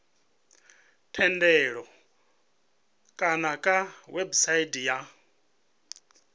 thendelo kana kha website ya